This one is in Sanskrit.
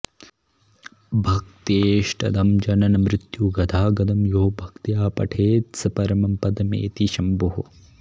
भक्तेष्टदं जननमृत्युगदागदं यो भक्त्या पठेत्स परमं पदमेति शम्भोः